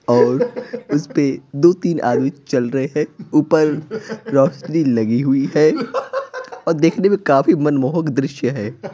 और उस पे दो-तीन आदमी चल रहे हैं ऊपर रोशनी लगी हुई है और देखने में काफी मनमोहक दृश्य है।